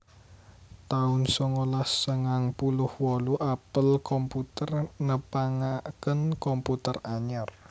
taun songolas sangang puluh wolu Apple Computer nepangaken komputer anyar